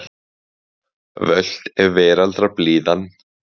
Völt er veraldar blíðan.